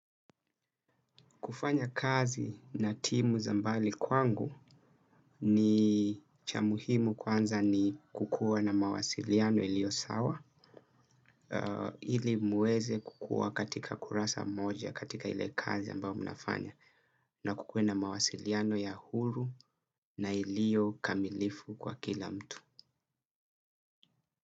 Kufanya kazi na timu za mbali kwangu ni cha muhimu kwanza ni kukua na mawasiliano iliyo sawa. Ili muweze kukua katika kurasa mmoja katika ile kazi ambao mnafanya na kukua na mawasiliano ya huru na iliyo kamilifu kwa kila mtu.